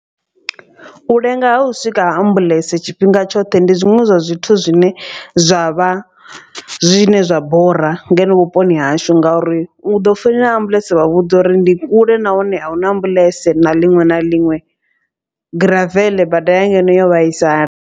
U lenga ha u swika ha ambuḽentse tshifhinga tshoṱhe ndi zwiṅwe zwa zwithu zwine zwa vha zwine zwa bora ngeno vhuponi hashu. Ngauri u ḓo founela ambuḽentse vha vhudza uri ndi kule nahone ahuna ambuḽentse na liṅwe na liṅwe graveḽe bada ya ngeno yo vhaisala.